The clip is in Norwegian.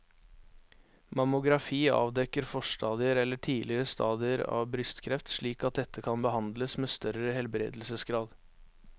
Mammografi avdekker forstadier eller tidlige stadier av brystkreft slik at dette kan behandles med større helbredelsesgrad.